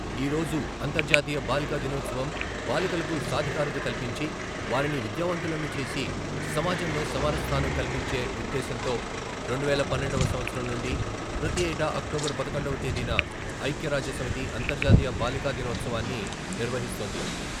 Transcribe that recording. ఈ రోజు అంతర్జాతీయ బాలికా దినోత్సవం బాలికలకు సాధికారిత కల్పించి, వారిని విద్యావంతులను చేసి సమాజంలో సమాన స్థానం కల్పించే ఉ ద్దేశ్యంతో రెండువేల పన్నెండువ సంవత్సరం నుండి ప్రతిఏటా అక్టోబర్ పదకొండవ తేదీన ఐక్యరాజ్య సమితి అంతర్జాతీయ బాలికాదినోత్సవాన్ని నిర్వహిస్తోంది.